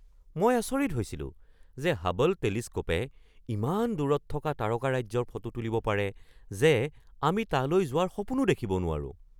মই আচৰিত হৈছিলো যে হাবল টেলিস্ক'পে ইমান দূৰত থকা তাৰকাৰাজ্যৰ ফটো তুলিব পাৰে যে আমি তালৈ যোৱাৰ সপোনো দেখিব নোৱাৰো!